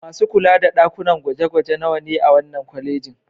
Masu kula da ɗakunan gwaje-gwaje nawa ne a wannan kwalejin?